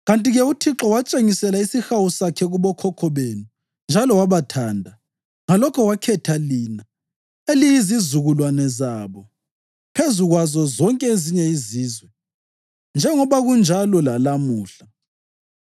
Kanti-ke uThixo watshengisela isihawu sakhe kubokhokho benu njalo wabathanda, ngalokho wakhetha lina, eliyizizukulwane zabo, phezu kwazo zonke ezinye izizwe, njengoba kunjalo lalamuhla.